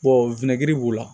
w b'u la